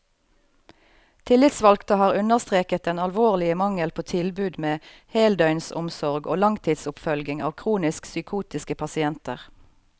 Tillitsvalgte har understreket den alvorlige mangel på tilbud med heldøgnsomsorg og langtidsoppfølging av kronisk psykotiske pasienter.